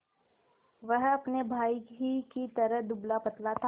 वह अपने भाई ही की तरह दुबलापतला था